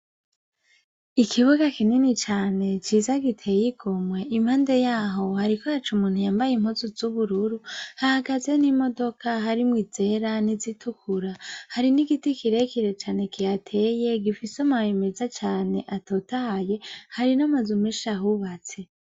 Ikibuga kinini cane ciza giteye igomwe, impande yaho hariko haca umuntu yambaye impuzu z'ubururu. Hahagaze n'imodoka harimwo izera n'izitukura. Hari n'igiti kirekire cane kihateye gifise amababi meza cane atotahaye ; hari n'amazu menshi ahubatse.